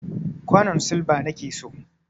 kwanon silba nake so.